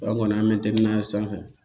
An kɔni an bɛ tɛgɛ n'a ye sanfɛ